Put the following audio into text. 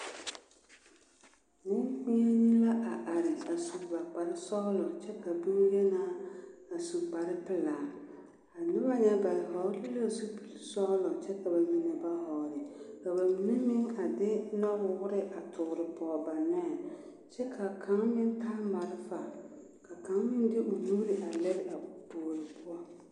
Neŋkpeɛne la a are a su ba kparresɔglɔ kyɛ ka bonyenaa a su kparrepelaa a nobɔ nyɛ ba vɔgle la zupilsɔglɔ kyɛ ka ba mine ba vɔgle ka ba mine meŋ a de nɔwoori a toore pɔge ba nɔɛ kyɛ ka kaŋ meŋ a taa malfa ka kaŋ meŋ de o nuuri a liri a puori poɔ.